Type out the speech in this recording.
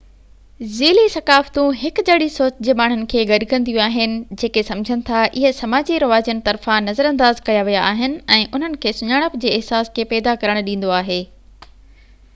ذيلي ثقافتون هڪجهڙي سوچ جي ماڻهن کي گڏ ڪنديون آهن جيڪي سمجهن ٿا اهي سماجي رواجن طرفان نظرانداز ڪيا ويا آهن ۽ انهن کي سڃاڻپ جي احساس کي پيدا ڪرڻ ڏيندو آهي